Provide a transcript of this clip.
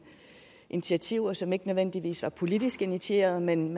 initiativer som ikke nødvendigvis var politisk initieret men